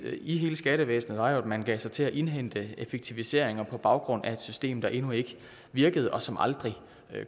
i hele skattevæsenet var jo at man gav sig til at indhente effektiviseringer på baggrund af et system der endnu ikke virkede og som aldrig